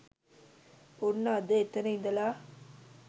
ඔන්න අද එතන ඉදලා